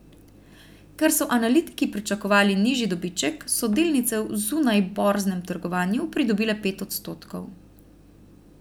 Ker so analitiki pričakovali nižji dobiček, so delnice v zunajborznem trgovanju pridobile pet odstotkov.